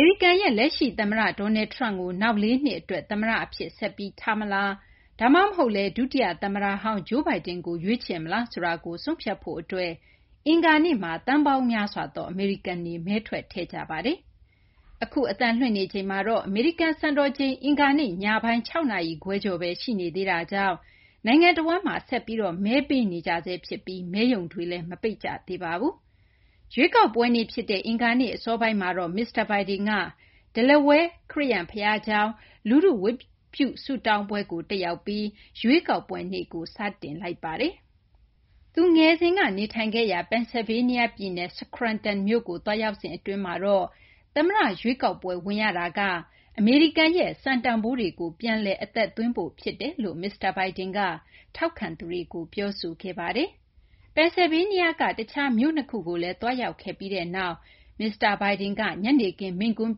ေရိကန်ရဲ့ လက်ရှိ သမ္မတ Donald Trump ကို နောက်လေးနှစ် အတွက် သမ္မတ အဖြစ် ဆက်ပြီး ထားမလား ဒါမှမဟုတ်လည်း ဒုတိယ သမ္မတဟောင်း Joe Biden ကို ရွေးချယ်မလားဆိုတာကို ဆုံးဖြတ်ဖို့ အတွက် အင်္ဂါနေ့မှာ သန်းပေါင်းများစွာသော အမေရိကန်တွေ မဲထွက်ထည့်ကြပါတယ်။ ရွေးကောက်ပွဲနေ့ ဖြစ်တဲ့ အင်္ဂါနေ့ အစောပိုင်းမှာတော့ မစ္စတာ Biden က Delaware ခရစ်ယာန် ဘုရားကျောင်း လူထု ဝတ်ပြုဆုတောင်းပွဲကို တက်ရောက်ပြီး ရွေးကောက်ပွဲနေ့ကို စတင်ပါတယ်။ သူ ငယ်စဉ်က နေထိုင်ခဲ့ရာ Pennsylvania ပြည်နယ် Scranton မြို့ကို သွားရောက်စဉ် အတွင်းမှာတော့ သမ္မတ ရွေးကောက်ပွဲ ဝင်ရတာက အမေရိကန်ရဲ့ စံတန်ဖိုးတွေကို ပြန်လည် အသက်သွင်းဖို့ ဖြစ်တယ်လို့ မစ္စတာ Biden က ထောက်ခံသူတွေကို ပြောဆိုခဲ့ပါတယ်။ Pennsylvania က တခြား မြို့ ၂ ခုကိုလည်း သွားရောက်ခဲ့ပြီးနောက် မစ္စတာ Biden က ညနေခင်း မိန့်ခွန်း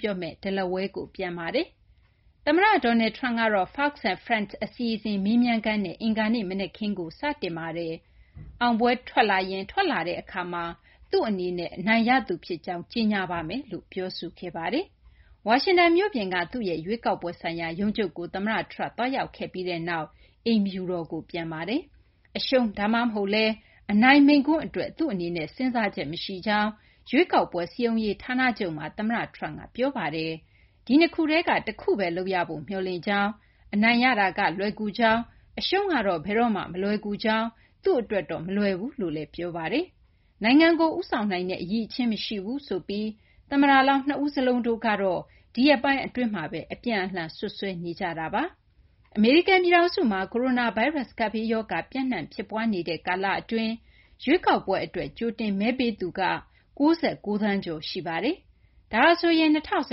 ပြောမယ့် Delaware ကိုပြန်ပါတယ်။ သမ္မတ Donald Trump ကတော့ Fox & Friends အစီအစဉ် မေးမြန်းခန်းနဲ့ အင်္ဂါနေ့ မနက်ခင်းကို စတင်ခဲ့ပါတယ်။ အောင်ပွဲ ထွက်လာရင် ထွက်လာတဲ့ အခါမှာ သူ့ အနေနဲ့ အနိုင်ရသူ ဖြစ်ကြောင်း ကြေညာပါမယ်လို့ ပြောဆိုခဲ့ပါတယ်။ ဝါရှင်တန် မြို့ပြင်က သူ့ရဲ့ ရွေးကောက်ပွဲဆိုင်ရာ ရုံးချုပ်ကို သမ္မတ Trump သွားရောက်ခဲ့ပြီးနောက် အိမ်ဖြူတော်ကို ပြန်ခဲ့ပါတယ်။ အရှုံး ဒါမှမဟုတ်လည်း အနိုင် မိန့်ခွန်း အတွက် သူ့အနေနဲ့ စဉ်းစားချက် မရှိကြောင်း ရွေးကောက်ပွဲ စည်းရုံးရေး ဌာနချုပ်မှာ သမ္မတ Trump က ပြောခဲ့ပါတယ်။ဒီနှစ်ခုထဲက တခုဘဲ လုပ်ရဖို့ မျှော်လင့်ကြောင်း၊ အနိုင်ရတာက လွယ်ကူကြောင်း၊ အရှုံးကတော့ ဘယ်တော့မှ မလွယ်ကူကြောင်း သူ့အတွက်တော့ မလွယ်ဘူးလို့လည်း ပြောပါတယ်။ နိုင်ငံကို ဦးဆောင်နိုင်တဲ့ အရည်အချင်း မရှိဘူးဆိုပြီး သမ္မတလောင်း ၂ ဦးစလုံးတို့ကတော့ ဒီရက်ပိုင်း အတွင်းမှာဘဲ အပြန်အလှန် စွပ်စွဲနေကြတာပါ။ အမေရိကန် ပြည်ထောင်စုမှာ ကိုရိုနာဗိုင်းရပ်စ် ကပ်ဘေးရောဂါ ပျံ့နှံ့ ဖြစ်ပွားနေတဲ့ ကာလအတွင်း ရွေးကောက်ပွဲ အတွက် ကြိုတင်မဲပေးသူက ၉၉ သန်းကျော် ရှိပါတယ်။ ဒါဟာဆိုရင် ၂၀၁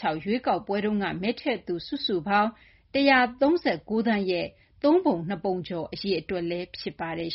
၆ ရွေးကောက်ပွဲက မဲထည့်သူ စုစုပေါင်း ၁၃၉ သန်းရဲ့ သုံးပုံ ၂ ပုံကျော် အရေအတွက် ဖြစ်ပါတယ်